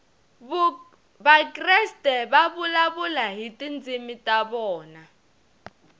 vakreste va vulavula hi tindzimi ta vona